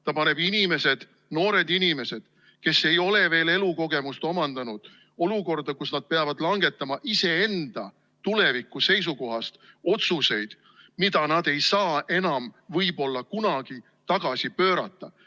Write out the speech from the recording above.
Ta paneb noored inimesed, kes ei ole veel elukogemust omandanud, olukorda, kus nad peavad langetama iseenda tuleviku seisukohast otsuseid, mida nad ei saa enam võib-olla kunagi tagasi pöörata.